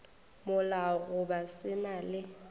molao goba se na le